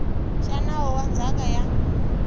xa nawu wa ndzhaka ya